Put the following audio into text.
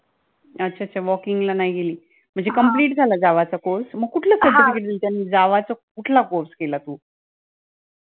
अच्छा अच्छा walk in ला नाही गेली complete झाला java चा course म्हणजे कुठलं certificate मिळतं java चा कुठला course केला तू